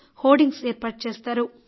hoardings ఏర్పాటుచేస్తారు